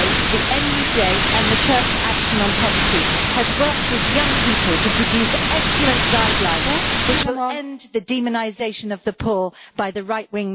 The NUJ and the Church Action on Poverty have also worked with young people to produce excellent guidelines, which will end the demonisation of the poor by the right-wing media.